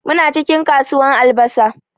Muna cikin kasuwan albasa.